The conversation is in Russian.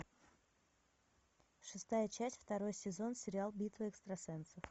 шестая часть второй сезон сериал битва экстрасенсов